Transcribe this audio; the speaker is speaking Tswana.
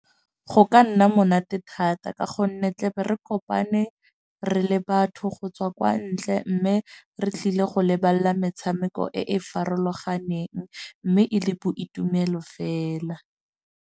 Go ka nna monate thata. Ka gonne re tla be re kopane re le batho go tswa kwa ntle. Mme re tlile go lebella metshameko e e farologaneng. Mme e le boitumelo fela.